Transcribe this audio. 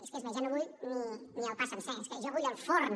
és que és més ja no vull ni el pa sencer és que jo vull el forn